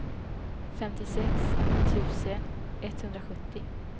femtiosex tusen etthundrasjuttio